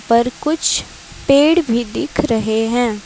पर कुछ पेड़ भी दिख रहे हैं।